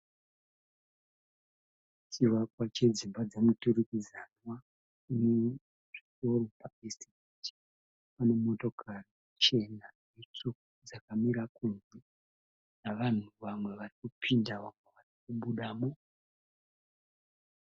Chivakwa chedzimba dzemuturikidzanwa, chiri pa Eastgate. Pane motokari chena netsvuku dzakamira kunze, nevanhu vamwe varikupinda nevamwe varikubudamo.